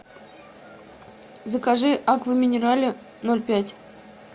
закажи аква минерале ноль пять